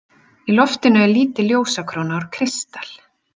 Í loftinu er lítil ljósakróna úr kristal.